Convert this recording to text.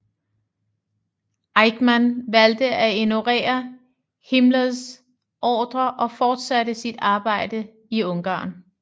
Eichmann valgte at ignorere Himmlers ordrer og fortsatte sit arbejde i Ungarn